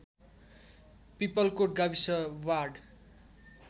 पिपलकोट गाविस वाड